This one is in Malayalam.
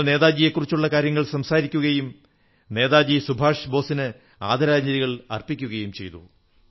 ഞങ്ങൾ നേതാജിയെക്കുറിച്ചുള്ള കാര്യങ്ങൾ സംസാരിക്കുകയും നേതാജി സുഭാഷ് ബോസിന് ആദരാഞ്ജലികൾ അർപ്പിക്കുകയും ചെയ്തു